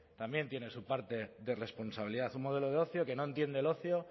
también tiene su parte de responsabilidad un modelo de ocio que no entiende el ocio